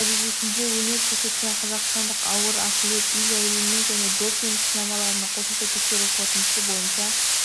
дәрежесінде өнер көрсеткен қазақстандық ауыр атлет илья ильиннің және допинг сынамаларының қосымша тексеру қорытындысы бойынша